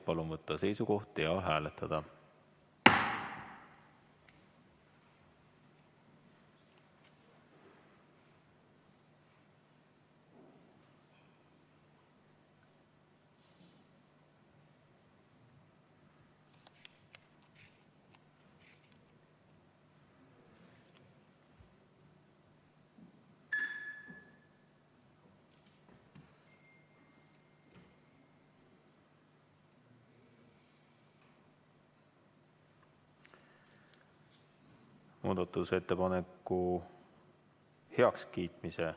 Palun võtta seisukoht ja hääletada!